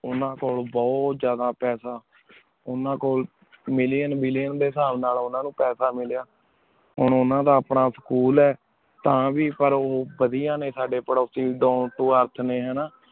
ਨੂਨਾ ਕੋਲ ਬੁਹਤ ਜਾਦਾ ਪਾਸਾ ਨੂਨਾ ਕੋਲ ਉਨਾ ਨੂ ਮਿਲ੍ਲਿਓਂ ਮਿਲ੍ਲੋੰ ਡੀ ਸਬ ਨਾਲ ਪਾਸਾ ਹੀਨ ਨੂਨਾ ਦਾ ਆਪਣਾ Million ਆਯ ਤਾਂ ਵੇ ਉਬਾਦੇਯਾਂ ਨੀ ਸਾਡੀ ਪਾਰੁਸੀ ਦੁੰਟ ਤੋ ਅਰ੍ਰਾਸੇ